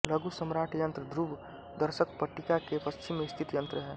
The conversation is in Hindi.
लघु सम्राट यंत्र घ्रुव दर्शक पट्टिका के पश्चिम में स्थित यंत्र है